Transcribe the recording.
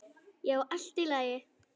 Já, allt í lagi.